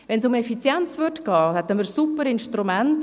Ginge es um Effizienz, hätten wir Super-Instrumente.